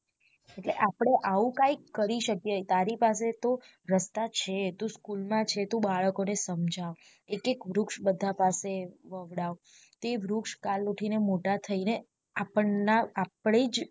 એટ્લે આપડે આવું કૈક કરી શકીયે તારી પાસે તો રસ્તા છે તું school માં છે તું બાળકો ને સમજાવ એક એક વૃક્ષ બધા પાસે વવડાવ તે વૃક્ષ કાલ ઉઠી ને મોટા થઇ ને આપન્ના આપડે જ